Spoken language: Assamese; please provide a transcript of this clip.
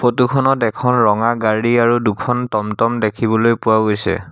ফটো খনত এখন ৰঙা গাড়ী আৰু দুখন টম টম দেখিবলৈ পোৱা গৈছে।